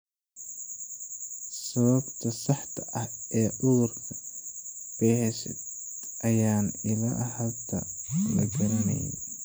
Sababta saxda ah ee cudurka Behcet ayaan ilaa hadda la garanayn.